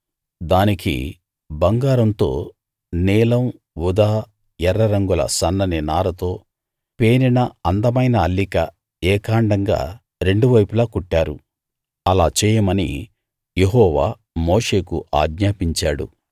దానికి బంగారంతో నీలం ఊదా ఎర్ర రంగుల సన్నని నారతో పేనిన అందమైన అల్లిక ఏకాండంగా రెండు వైపులా కుట్టారు అలా చేయమని యెహోవా మోషేకు ఆజ్ఞాపించాడు